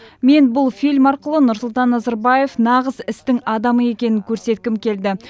мен бұл фильм арқылы нұрсұлтан назарбаев нағыз істің адамы екенін көрсеткім келді